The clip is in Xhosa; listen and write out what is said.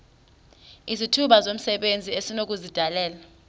izithuba zomsebenzi esinokuzidalela